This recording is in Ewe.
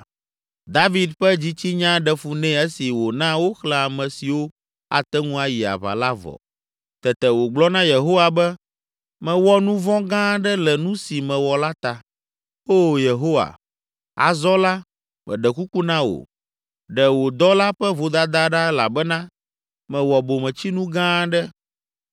David ƒe dzitsinya ɖe fu nɛ esi wòna woxlẽ ame siwo ate ŋu ayi aʋa la vɔ. Tete wògblɔ na Yehowa be, “Mewɔ nu vɔ̃ gã aɖe le nu si mewɔ la ta. Oo Yehowa, azɔ la meɖe kuku na wò, ɖe wò dɔla ƒe vodada ɖa elabena mewɔ bometsinu gã aɖe.”